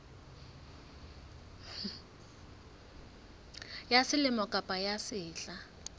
ya selemo kapa ya sehla